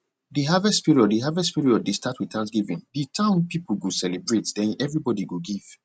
de harvest period de harvest period dey start with thanksgiving de town people go celebrate den everybody go give